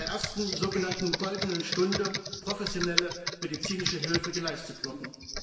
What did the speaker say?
innerhalb der ersten so genannten goldenen Stunde professionelle medizinische Hilfe geleistet worden.